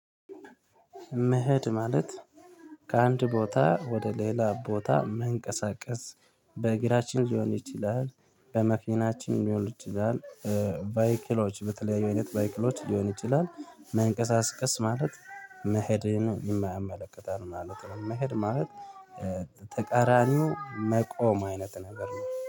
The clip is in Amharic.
መሄድ ማለት ከአንድ ቦታ ወደ ሌላ ቦታ መንቀሳቀስ በእግራችን ሊሆን ይችላል በመኪናችን ሊሆን ይችላል ባይክሎች በተለያዩ አይነት ባይክሎች ሊሆን ይችላል መንቀሳቀስ ማለት መሄድን የማያመለክታል ማለት ነው። መሄድ ማለት ተቃራኒው መቆም አይነት ነገር ነው